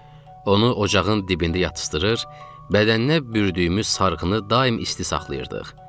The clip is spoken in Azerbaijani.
Onu ocağın dibində yatızdırır, bədəninə bürdüyümüz sarğını daim isti saxlayırdıq.